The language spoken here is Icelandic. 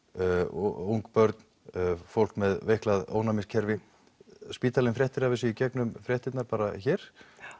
ung börn fólk með ónæmiskerfi spítalinn fréttir af þessu bara í gegnum fréttirnar hér